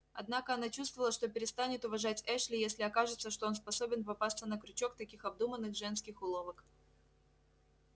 однако она чувствовала что перестанет уважать эшли если окажется что он способен попасться на крючок таких обдуманных женских уловок